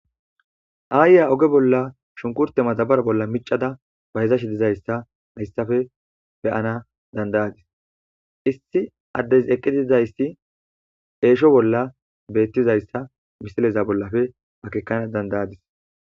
aayiya oge bolla shunkurte maxabara bolla micada bayezash dizayssa hayssafe beyana dandayadis issi addes eqqidizayssi eesho bolla beettizayssa misileza bollafe bakekana dandayadis